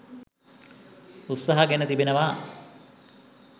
උත්සහ ගෙන තිබෙනවා.